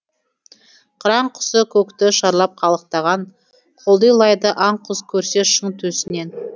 қыран құсы көкті шарлап қалықтаған құлдилайды аң құс көрсе шың төсінен